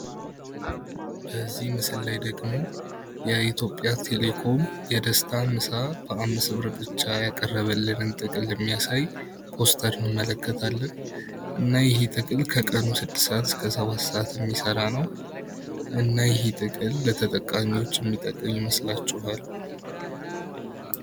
በዚህ ምስል ላይ ደግሞ የኢትዮጵያ ቴሌኮም የደስታ ምሳ በአምስት ብር ብቻ ያቀረበልንን ጥቅል የሚያሳይ ፖስተር እንመለከታለን እና ይሄ ጥቅል ከቀኑ ስድስት ስዓት እስከ ሰባት ሰዐት የሚሰራ ነው። እና ይሄ ጥቅል ለተጠቃሚዎች የሚጠቅም ይመስላችኋል?